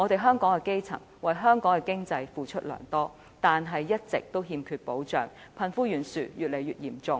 香港的基層為香港的經濟付出良多，但一直欠缺保障，貧富懸殊越來越嚴重。